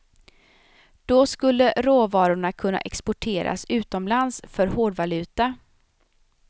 Då skulle råvarorna kunna exporteras utomlands för hårdvaluta.